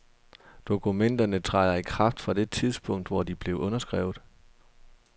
Dokumenterne træder i kraft fra det tidspunkt, hvor de bliver underskrevet.